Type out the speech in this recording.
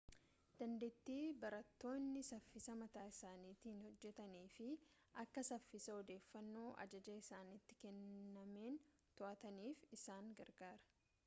dandeettii barattoonni saffisa mataa isaaniitiin hojjetanii fi akka saffisa odeeffannoo ajajaa isaanitti kennameen to'ataniif isaan gargaara